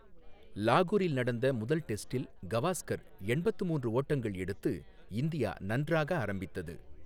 லாகூரில் நடந்த முதல் டெஸ்டில் கவாஸ்கர் எண்பத்து மூன்று ஓட்டங்கள் எடுத்து இந்தியா நன்றாக ஆரம்பித்தது.